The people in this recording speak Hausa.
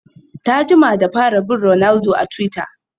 Ta jima da fara bin ronaldo a twitter